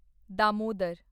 Damodar